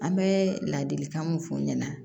An bɛ ladilikan mun f'u ɲɛna